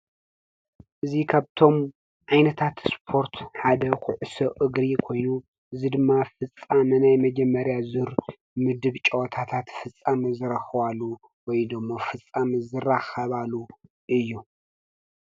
።እዙ ከብቶም ኣይነታት ስጶርት ሓደ ዂዑስ እግሪ ኮይኑ ዝድማ ፍጻ መናይ መጀመርያ ዙር ምድብ ጨወታታት ፍጻመዝረኽዋሉ ወይዶሞ ፍጻምዝራ ኸባሉ እዩ